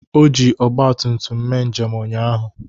O ji Ọgbatumtum mee njem ụnyaahụ.